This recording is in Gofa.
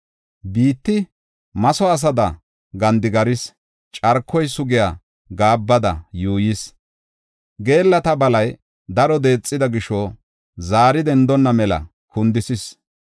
Biitti matho asada gandigarees; carkoy sugiya gaabbada yuuyees. Geellata balay daro deexida gisho zaari dendonna mela kundisis.